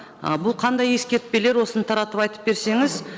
ы бұл қандай ескертпелер осыны таратып айтып берсеңіз